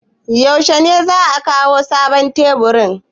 Yaushe ne za a kawo sabon taburin?